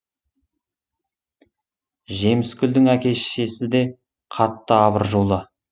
жемісгүлдің әке шешесі де қатты абыржулы